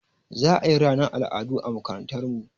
Za a yi ranar al'adu a makarantar mu